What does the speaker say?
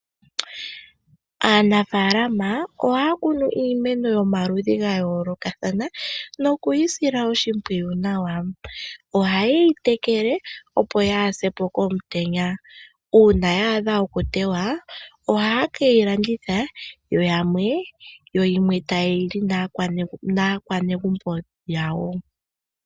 Aanafaalama ohaya kunu iimeno yomaludhi ga yoolokathana noku yi sila oshimpwiyu nawa. Ohaye yi tekele, opo yaa se po komutenya. Uuna ya adha okuteywa ohaye ke yi landitha yo yimwe taye yi li naanegumbo yawo.